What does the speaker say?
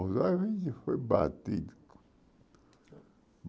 Os olhos a gente foi batido.